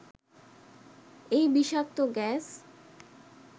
এই বিষাক্ত গ্যাস